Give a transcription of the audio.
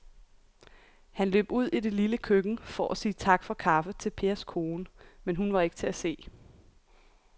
Han løb ud i det lille køkken for at sige tak for kaffe til Pers kone, men hun var ikke til at se.